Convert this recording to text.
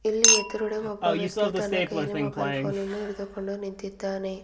ಇಲ್ಲಿ ಎದುರುಗಡೆ ಒಬ್ಬ ವ್ಯಕ್ತಿಯು ತನ್ನ ಕೈಯಲ್ಲಿ ಮೊಬೈಲ್ ಫೋನ್ ಅನ್ನು ಹಿಡಿದುಕೊಂಡು ನಿಂತಿದ್ದಾನೆ.